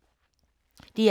DR K